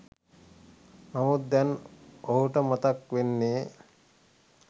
නමුත් දැන් ඔහුට මතක් වෙන්නේ